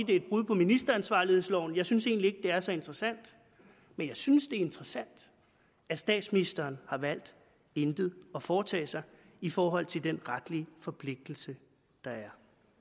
det er et brud på ministeransvarlighedsloven jeg synes egentlig ikke det er så interessant men jeg synes det er interessant at statsministeren har valgt intet at foretage sig i forhold til den retlige forpligtelse der er